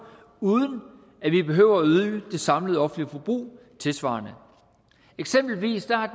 uden at vi behøver at øge det samlede offentlige forbrug tilsvarende eksempelvis har